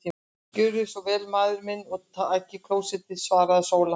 Gjörið þér svo vel maður minn og takið klósettið, svaraði Sóla.